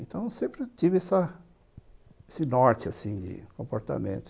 Então, sempre tive essa esse norte, assim, de comportamento.